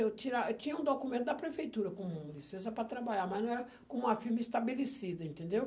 Eu tira eu tinha um documento da prefeitura com licença para trabalhar, mas não era com uma firma estabelecida, entendeu?